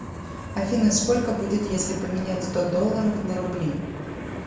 афина сколько будет если поменять сто долларов на рубли